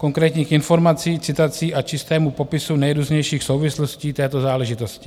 Konkrétních informací, citací a čistému popisu nejrůznějších souvislostí této záležitosti.